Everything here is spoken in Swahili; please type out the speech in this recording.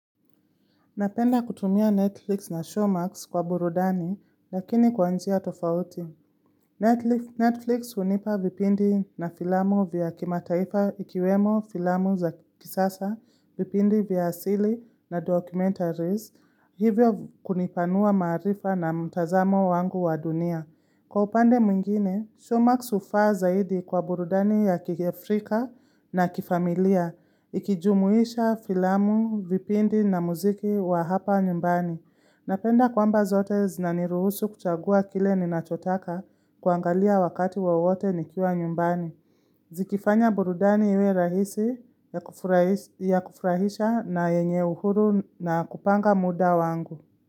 Napenda kutumia Netflix na Showmax kwa burudani, lakini kwa njia tofauti. Netflix unipa vipindi na filamu vya kimataifa ikiwemo filamu za kisasa, vipindi vya asili na documentaries, hivyo kunipanua maarifa na mtazamo wangu wa dunia. Kwa upande mwingine, Showmax ufaa zaidi kwa burudani ya kiafrika na kifamilia, ikijumuisha filamu, vipindi na muziki wa hapa nyumbani. Napenda kwamba zote zinaniruhusu kuchagua kile ninachotaka kuangalia wakati wowote nikiwa nyumbani. Zikifanya burudani iwe rahisi ya kufurahisha na yenye uhuru na kupanga muda wangu.